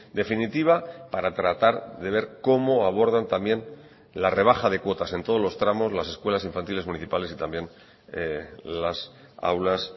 definitiva para tratar de ver cómo abordan también la rebaja de cuotas en todos los tramos las escuelas infantiles municipales y también las aulas